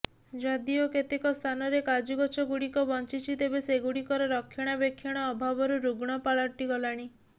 ଯଦିଓ କେତେକ ସ୍ଥାନରେ କାଜୁଗଛ ଗୁଡିକ ବଞ୍ଚିଛି ତେବେ ସେଗୁଡିକର ରକ୍ଷଣାବେକ୍ଷଣ ଅଭାବରୁ ରୁଗ୍ଣ ପାଲଟି ଗଲାଣି